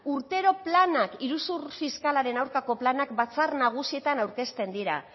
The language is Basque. urtero planak iruzur fiskalaren aurkako planak batzar nagusietan aurkezten dira